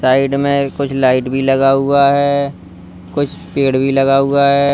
Side में कुछ light भी लगा हुआ है कुछ पेड़ भी लगा हुआ है।